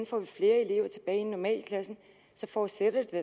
får flere elever tilbage i normalklassen forudsætter det